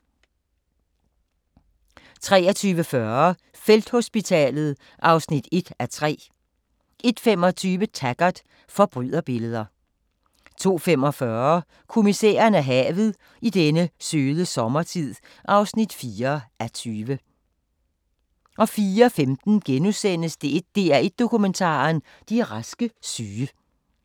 23:40: Felthospitalet (1:3) 01:25: Taggart: Forbryderbilleder 02:45: Kommissæren og havet: I denne søde sommertid (4:20) 04:15: DR1 Dokumentar: De raske syge *